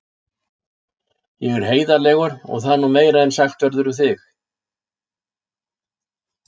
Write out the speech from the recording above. Ég er heiðarlegur og það er nú meira en sagt verður um þig.